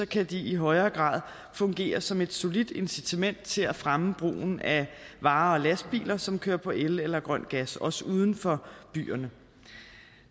kan de i højere grad fungere som et solidt incitament til at fremme brugen af vare og lastbiler som kører på el eller grøn gas også uden for byerne